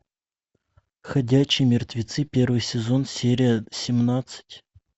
ходячие мертвецы первый сезон серия семнадцать